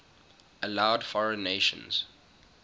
allowed foreign nations